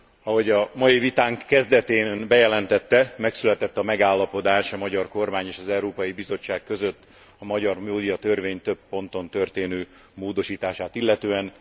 Ahogy a mai vitánk kezdetén ön bejelentette, megszületett a megállapodás a magyar kormány és az Európai Bizottság között a magyar médiatörvény több ponton történő módosítását illetően.